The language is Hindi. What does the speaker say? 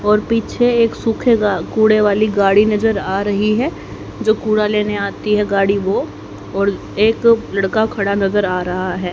और पीछे एक सुखेगा कूड़े वाली गाड़ी नजर आ रही है जो कूड़ा लेने आती है गाड़ी वो और एक लड़का खड़ा नजर आ रहा है।